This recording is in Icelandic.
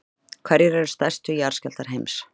hverjir eru stærstu jarðskjálftar heims